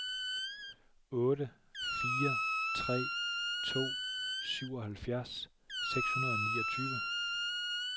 otte fire tre to syvoghalvfjerds seks hundrede og niogtyve